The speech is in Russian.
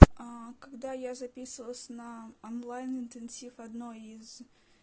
когда я записывалась на онлайн-интенсив одной из